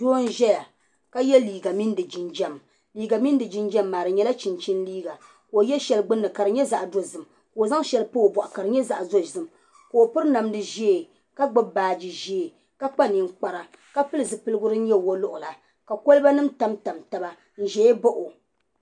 Doo n ʒɛya ka yɛ liiga mini di jinjɛm di nyɛla chinchin liiga ka o yɛ shɛli gbunni ka di nyɛ zaɣ dozim ka o zaŋ shɛli pa o boɣu ka di nyɛ zaɣ dozim ka o piri namdi ʒiɛ ka gbubi baaji ʒiɛ ka kpa ninkpara ka pili zipiligu din nyɛ woliɣi la ka kolba nim tamtam taba n ʒɛ n baɣa o